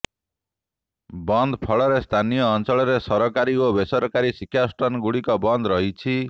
ବନ୍ଦ ଫଳରେ ସ୍ଥାନୀୟ ଅଞ୍ଚଳରେ ସରକାରୀ ଓ ବେସରାରୀ ଶିକ୍ଷାନୁଷ୍ଠାନ ଗୁଡ଼ିକ ବନ୍ଦ ରହିଛି